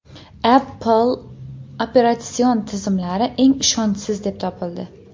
Apple operatsion tizimlari eng ishonchsiz deb topildi.